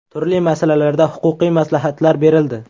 Turli masalalarda huquqiy maslahatlar berildi.